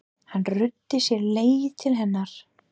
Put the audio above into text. Hann ruddi sér leið til hennar.